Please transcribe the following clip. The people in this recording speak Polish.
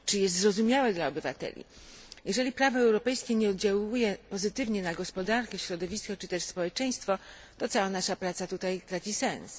Czy jest zrozumiałe dla obywateli? Jeżeli prawo europejskie nie oddziałuje pozytywnie na gospodarkę, środowisko i społeczeństwo to cała nasza praca traci sens.